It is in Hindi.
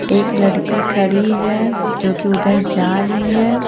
एक लड़की खड़ी है जो कि उधर जा रही है।